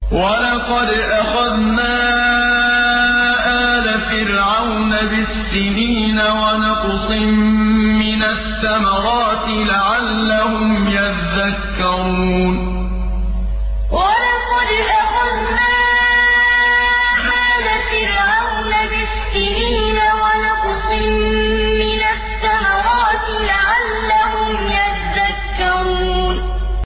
وَلَقَدْ أَخَذْنَا آلَ فِرْعَوْنَ بِالسِّنِينَ وَنَقْصٍ مِّنَ الثَّمَرَاتِ لَعَلَّهُمْ يَذَّكَّرُونَ وَلَقَدْ أَخَذْنَا آلَ فِرْعَوْنَ بِالسِّنِينَ وَنَقْصٍ مِّنَ الثَّمَرَاتِ لَعَلَّهُمْ يَذَّكَّرُونَ